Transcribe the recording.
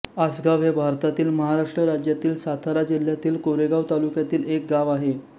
आसगाव हे भारतातील महाराष्ट्र राज्यातील सातारा जिल्ह्यातील कोरेगाव तालुक्यातील एक गाव आहे